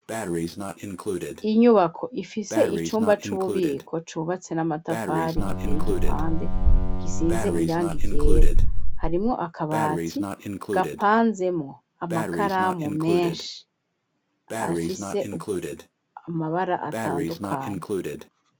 Inyubako, ifise icumba c'ububiko, cubatse n'amatafari, giteye igipande, gisize irangi ryera; harimwo akabati gapanzemwo amakaramu menshi, afise amabara atandukanye.